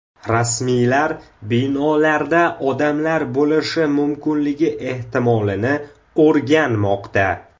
Rasmiylar binolarda odamlar bo‘lishi mumkinligi ehtimolini o‘rganmoqda.